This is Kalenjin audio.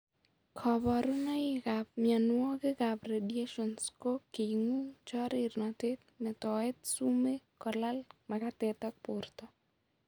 Kaborunoik ab mionwokik ab radiations ko king'ung',chorirnatet, metoet sumeek, kolal makatet ak borto